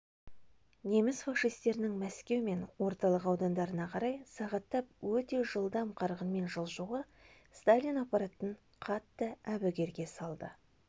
неміс-фашистерінің мәскеу мен орталық аудандарына қарай сағаттап өте жылдам қарқынмен жылжуы сталин аппаратын қатты әбігерге салды